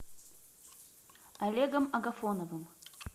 олегом агафоновым